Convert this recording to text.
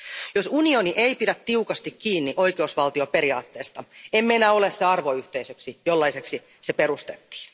Jos unioni ei pidä tiukasti kiinni oikeusvaltioperiaatteesta, emme enää ole se arvoyhteisö, jollaiseksi se perustettiin.